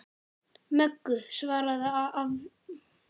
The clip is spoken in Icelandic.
Möggu, svaraði afi blindi.